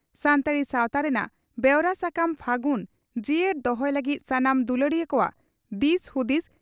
ᱥᱟᱱᱛᱟᱲᱤ ᱥᱟᱣᱛᱟ ᱨᱮᱱᱟᱜ ᱵᱮᱣᱨᱟ ᱥᱟᱠᱟᱢ 'ᱯᱷᱟᱹᱜᱩᱱ' ᱡᱤᱭᱟᱹᱲ ᱫᱚᱦᱚᱭ ᱞᱟᱹᱜᱤᱫ ᱥᱟᱱᱟᱢ ᱫᱩᱞᱟᱹᱲᱤᱭᱟᱹ ᱠᱚᱣᱟᱜ ᱫᱤᱥ ᱦᱩᱫᱤᱥ